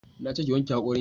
Na ce ki wanke hakorin ki